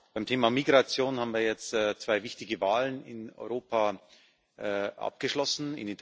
Beim Thema Migration haben wir jetzt zwei wichtige Wahlen in Europa abgeschlossen.